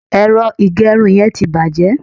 ero igerun yen ti baje